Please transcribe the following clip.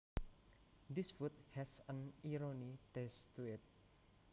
This food has an irony taste to it